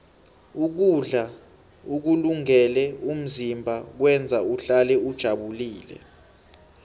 ukudla ukulungele umzimba kwenza uhlale ujabulile